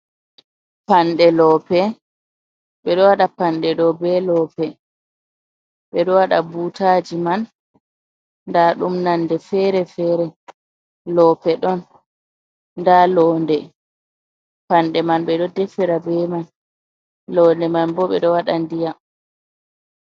Panɗe loope ɓeɗo wada panɗe ɗo be lope, ɓeɗo waɗa butaji man nda ɗum nonde fere-fere, lope ɗon nda londe, panɗe man ɓeɗo defira be man, londe man bo ɓeɗo waɗa ndiyam.